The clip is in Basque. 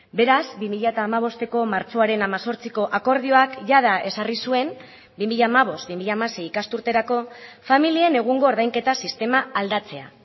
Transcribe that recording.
beraz bi mila hamabosteko martxoaren hemezortziko akordioak jada ezarri zuen bi mila hamabost bi mila hamasei ikasturterako familien egungo ordainketa sistema aldatzea